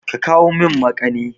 Ka kawo min makani!